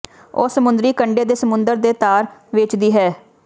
ਉਹ ਸਮੁੰਦਰੀ ਕੰਢੇ ਦੇ ਸਮੁੰਦਰ ਦੇ ਤਾਰ ਵੇਚਦੀ ਹੈ